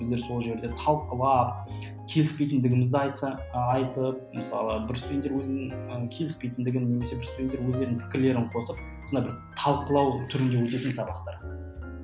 біздер сол жерде талқылып келіспейтіндігімізді айтсақ айтып мысалы бір студенттер өзінің ы келіспейтіндігін немесе бір студенттер өздерінің пікірлерін қосып сондай бір талқылау түрінде өтетін сабақтар